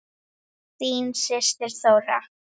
Þín systir Þóra.